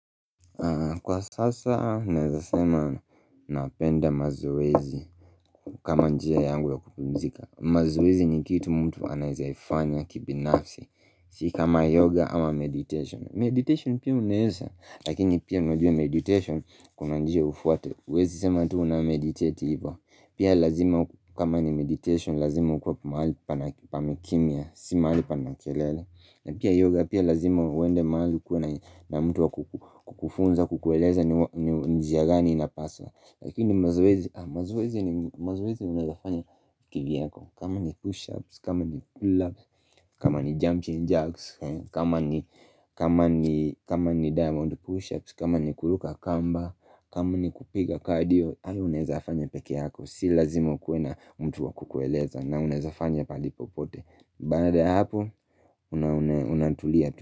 Kwa sasa naezasema napenda mazoezi, kama njia yangu ya kupumzika. Mazoezi ni kitu mtu anaezaifanya kibinafsi Si kama yoga ama meditation. Meditation pia unaeza. Lakini pia unajua meditation kuna njia ufuate. Uwezi sema tu una meditate ivo. Pia lazima kama ni meditation lazima ukue mahali pana pamekimia, Si mahali panakelele. Na pia yoga pia lazima uende mahali ukue na na mtu wakukufunza kukueleza njia gani inapaswa Lakini mazoezi mazoezi mazoezi unaezafanya kivyako. Kama ni push ups, kama ni pull ups, kama ni jumping jacks, kama ni diamond push ups, kama ni kuluka kamba kama ni kupiga cardio, aniunawezafanya peke yako. Si lazima ukue na mtu wakukueleza na unaezafanya pahali popote. Baada ya hapo unatulia tu.